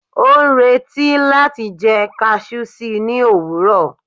o n reti láti jẹ cashew sí ni owurọ